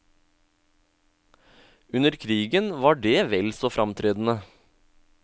Under krigen var det vel så framtredende.